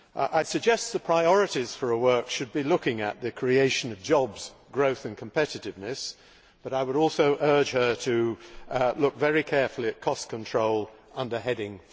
I suggest the priorities for her work should be looking at the creation of jobs, growth and competitiveness, but I would also urge her to look very carefully at cost control under Heading